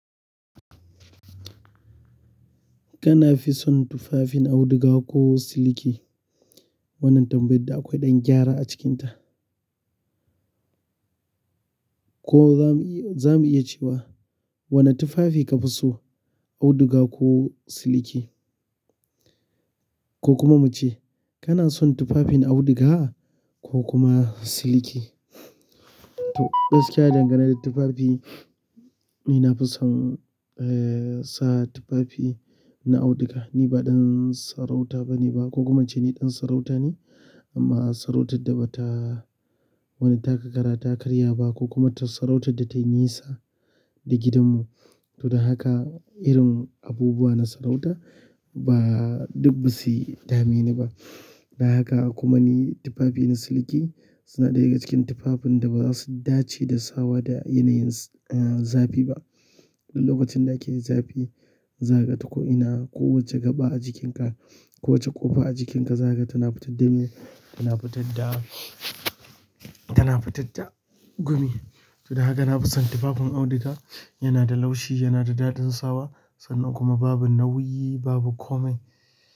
Kana fi son tufafin auduga ko siliki? Wannan tambaya da akwai ɗan gyara a cikinta. Ko za mu, za mu iya cewa wane tufafi ka fi so auduga ko siliki? Ko kuma muce kana son tufafin auduga ko kuma siliki? To gaskiya dangane da tufafi, ni na fi son, eh, sa tufafi na auduga. Ni ba ɗan sarauta bane ba ko kuma ce ni ɗan sarauta ne amma sarautar da bata wani taka ƙara, ta karya ba ko kuma ta sarautar da tayi nisa da gidanmu. To don haka irin abubuwa na sarauta ba duk basuyi dame ni ba. Bayan haka kuma ni tufafin siliki sun daga cikin tufafin da ba zasu dace da sawa da yanayin zafi ba. In lokacin da ake zafi za kaga to ko ina. Kowani gaba a jikinka, kowace ƙofa a jikinka zaka ga tana fitar da gumi, saboda haka na fi son tufafin auduga. Yana da laushi, yana da daɗin sawa sannan kuma babu nauyi, babu komai.